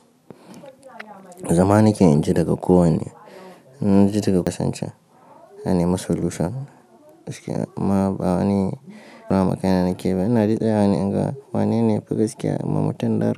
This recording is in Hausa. Zama ni ke inji daga ko wanne, inji daga kasance. Na nima solution gaskiya amma ba wani damun kai na nakeyi ba ina dai tsayawa ne in ga wanene? Yafi gaskiya in ma mutun nar.